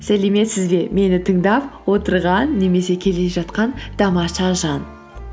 сәлеметсіз бе мені тыңдап отырған немесе келе жатқан тамаша жан